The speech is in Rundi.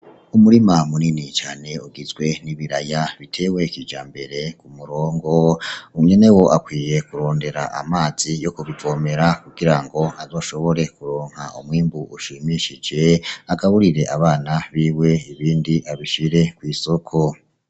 Umurima munini cane ugizwe n'ibiraya, bitewe kija mbere ku murongo unyene wo akwiye kurondera amazi yo kubivomera kugira ngo azoshobore kuronka umwimbu ushimishije agaburire abana biwe ibindi abishire kw'isoko.